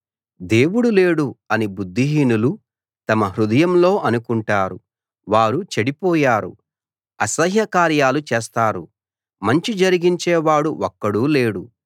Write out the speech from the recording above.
దేవుడు లేడు అని బుద్ధిహీనులు తమ హృదయంలో అనుకుంటారు వారు చెడిపోయారు అసహ్యకార్యాలు చేస్తారు మంచి జరిగించేవాడు ఒక్కడూ లేడు